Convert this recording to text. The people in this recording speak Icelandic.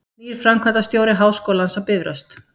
Nýr framkvæmdastjóri Háskólans á Bifröst